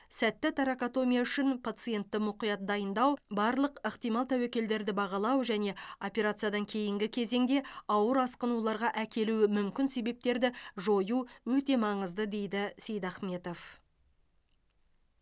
сәтті торакотомия үшін пациентті мұқият дайындау барлық ықтимал тәуекелдерді бағалау және операциядан кейінгі кезеңде ауыр асқынуларға әкелуі мүмкін себептерді жою өте маңызды дейді ж сейдахметов